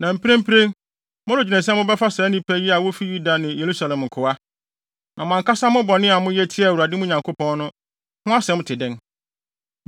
Na mprempren, moredwene sɛ mobɛfa saa nnipa yi a wofi Yuda ne Yerusalem nkoa. Na mo ankasa mo bɔne a moyɛ tiaa Awurade, mo Nyankopɔn no, ho asɛm te dɛn?